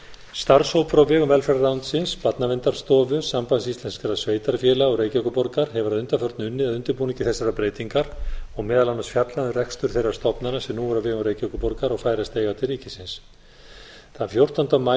starfshópur á vegum velferðarráðuneytisins barnaverndarstofu sambands íslenskra sveitarfélaga og reykjavíkurborgar hefur að undanförnu unnið að undirbúningi þessarar breytingar og meðal annars fjallað um rekstur þeirra stofnana sem nú er á vegum reykjavíkurborgar og færast eiga til ríkisins þann fjórtánda maí